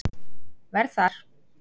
verð þar.